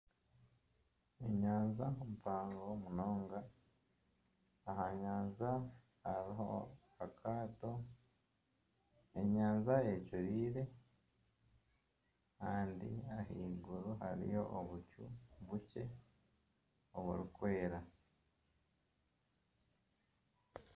Enyanja mpango munonga aha nyanja hariho akaato, enyanja ecuraire kandi ahaiguru hariyo obucu bukye oburikwera.